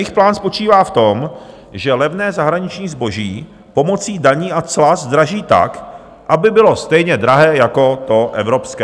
Jejich plán spočívá v tom, že levné zahraniční zboží pomocí daní a cla zdraží tak, aby bylo stejně drahé jako to evropské.